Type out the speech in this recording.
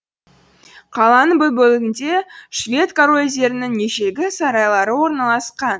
қаланың бұл бөлігінде швед корольдерінің ежелгі сарайлары орналасқан